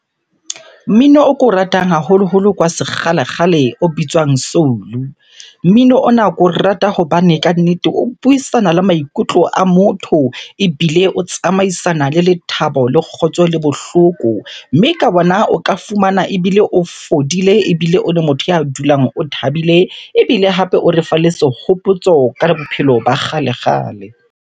Mmino o ko ratang haholoholo ke wa sekgalekgale o bitswang soul-u. Mmino ona ke o rata hobane kannete o buisana le maikutlo a motho ebile o tsamaisana le lethabo, le kgotso le bohloko. Mme ka bona o ka fumana ebile o fodile ebile o le motho ya dulang o thabile. Ebile hape o refa le sehopotso ka bophelo ba kgale-kgale.